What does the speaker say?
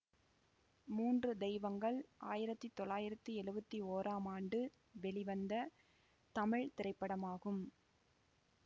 மூன்று தெய்வங்கள் ஆயிரத்தி தொள்ளாயிரத்தி எழுவத்தி ஓராம் ஆண்டு வெளிவந்த தமிழ் திரைப்படமாகும்